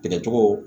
Tigɛcogo